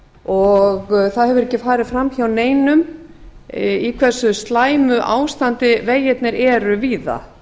og það hefur ekki farið fram hjá neinum í hversu slæmu ástandi vegirnir eru víða